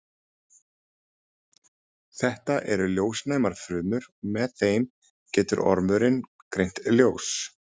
Þetta eru ljósnæmar frumur og með þeim getur ormurinn greint ljós.